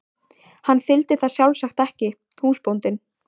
Hann þyldi það sjálfsagt ekki, húsbóndinn.